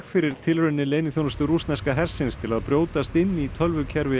fyrir tilraunir leyniþjónustu rússneska hersins til að brjótast inn í tölvukerfi